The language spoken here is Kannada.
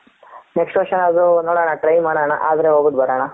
next ವರ್ಷ ಅದ್ರು ನೋಡನ try ಮಾಡನ ಆದ್ರೆ ಹೋಗಿಬಿಟು ಬರಣ.